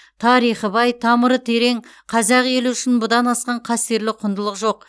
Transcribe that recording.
тарихы бай тамыры терең қазақ елі үшін бұдан асқан қастерлі құндылық жоқ